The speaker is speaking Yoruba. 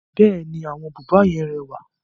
Bẹ́ẹ̀ni, àwọn búba yẹn rẹwà.